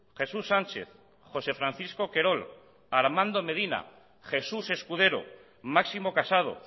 jesús sánchez josé francisco querol armando medina jesús escudero máximo casado